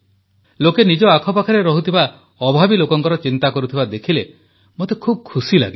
ଲୋକେ ନିଜ ଆଖପାଖରେ ରହୁଥିବା ଅଭାବୀ ଲୋକଙ୍କର ଚିନ୍ତା କରୁଥିବା ଦେଖିଲେ ମୋତେ ଖୁବ୍ ଖୁସି ଲାଗେ